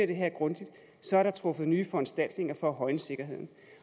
det her grundigt truffet nye foranstaltninger for at højne sikkerheden